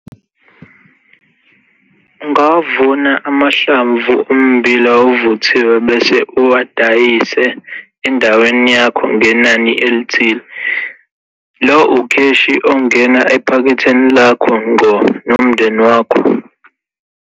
Ungawavuna amahlamvu ommbila ovuthiwe bese uwadayise endaweni yakho ngenani elithile. Lo ukheshi ongena ephaketheni lakho ngqo nomndeni wakho.